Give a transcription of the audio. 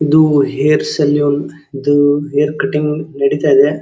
ಇದು hair salon ಇದು hair cutting ನಡಿತಾ ಇದೆ.